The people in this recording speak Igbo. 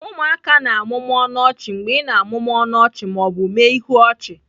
Ụmụaka na-amụmụ ọnụ ọchị mgbe ị na-amụmụ ọnụ ọchị ma ọ bụ mee ihu ọchị